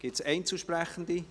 Gibt es Einzelsprechende?